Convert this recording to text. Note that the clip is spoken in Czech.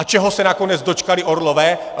A čeho se nakonec dočkali orlové?